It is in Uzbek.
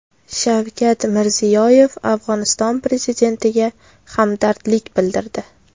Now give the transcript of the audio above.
Shavkat Mirziyoyev Afg‘oniston prezidentiga hamdardlik bildirdi.